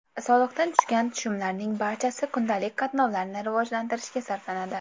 Soliqdan tushgan tushumlarning barchasi kundalik qatnovlarni rivojlantirishga sarflanadi.